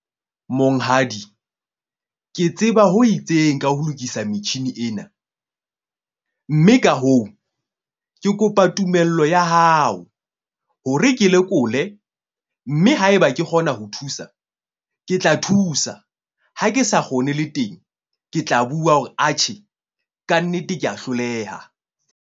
Monghadi ke tseba ho itseng ka ho lokisa metjhini ena. Mme ka hoo, ke kopa tumello ya hao hore ke lekole mme haeba ke kgona ho thusa. Ke tla thusa. Ha ke sa kgone le teng, ke tla bua hore atjhe kannete ke a hloleha.